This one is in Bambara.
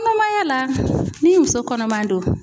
Kɔnɔmaya la ni muso kɔnɔman don